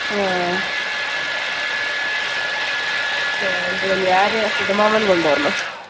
ആ ഞാന് സുധമാമൻ കൊണ്ടുവന്നു